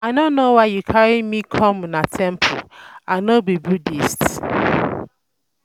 I no know why you carry me come una temple I um no be Buddhist